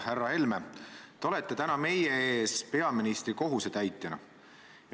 Härra Helme, te olete täna meie ees peaministri kohusetäitjana.